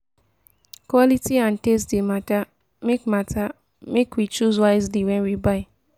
Quality and taste dey matter; make matter; make we choose wisely wen we buy.